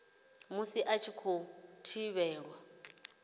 musi a tshi khou thivhelwa